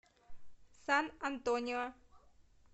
сан антонио